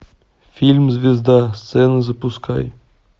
фильм звезда сцена запускай